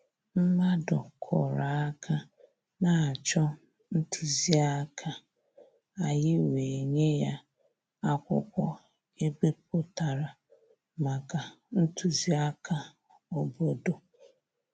Mmàdụ̀ kụ́rụ̀ áká na-chọ́ ntụzìáká, ànyị́ wèé nyé yá ákwụ́kwọ́ è bípụ̀tàrà màkà ntụzìáká òbòdò.